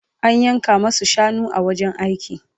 An yanka masu shanu a wajen aiki